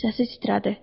Səsi titrədi.